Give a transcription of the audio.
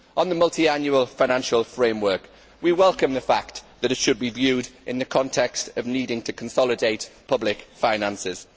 On the multiannual financial framework, we welcome the fact that it should be viewed in the context of needing to consolidate public finances.